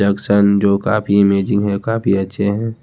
Action जो काफी amazing है काफी अच्छे हैं।